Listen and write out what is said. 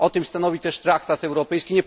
O tym stanowi też traktat europejski.